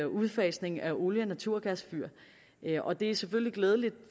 udfasningen af olie og naturgasfyr og det er selvfølgelig glædeligt